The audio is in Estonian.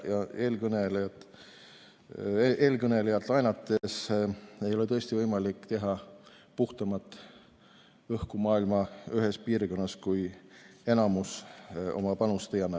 Eelkõnelejalt laenates: tõesti ei ole võimalik tekitada puhtamat õhku maailma ühes piirkonnas, kui enamus oma panust ei anna.